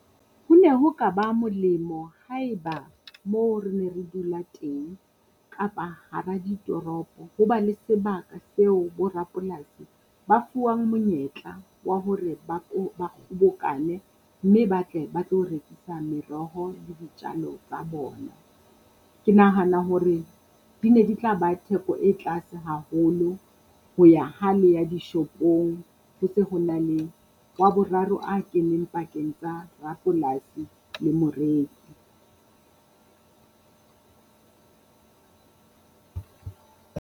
Ho ne ho ka ba molemo haeba mo re ne re dula teng, kapa hara ditoropo ho ba le sebaka seo bo rapolasi ba fuwang monyetla wa hore ba ba kgobokane mme ba tle ba tlo rekisa meroho le ditjalo tsa bona. Ke nahana hore di ne di tla ba theko e tlase haholo. Ho ya ha le ya dishopong ho se ho na le wa boraro a keneng pakeng tsa rapolasi le moreki.